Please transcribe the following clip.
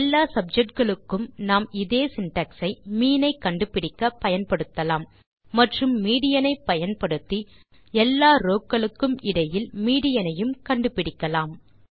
எல்லா சப்ஜெக்ட் களுக்கும் நாம் இதே சின்டாக்ஸ் ஐ மீன் ஐ கண்டுபிடிக்க பயன்படுத்தலாம் மற்றும் மீடியன் ஐ பயன்படுத்தி எல்லா ரோவ் களுக்கும் இடையில் மீடியன் ஐயும் கண்டுபிடிக்கலாம்